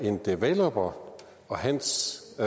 en developer og hans